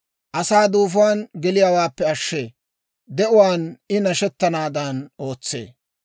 asaa duufuwaan geliyaawaappe ashshee; de'uwaan I nashshettanaadan ootsee.